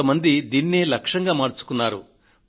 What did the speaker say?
కొంతమంది దీనినే లక్ష్యంగా మార్చుకున్నారు